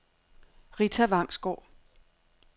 Ritta Vangsgaard